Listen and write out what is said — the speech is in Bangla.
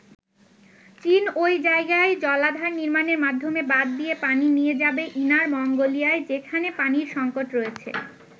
চীন ওই জায়গায় জলাধার নির্মানের মাধ্যমে বাধ দিয়ে পানি নিয়ে যাবে ইনার মঙ্গোলিয়ায় যেখানে পানির সংকট রয়েছে।